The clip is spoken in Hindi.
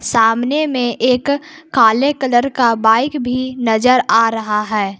सामने में एक काले कलर की बाईक भी नजर आ रही है।